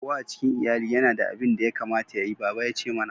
Kowa a cikin lyalli ya na da abin da ya kamata yayi, baba ya ce mana.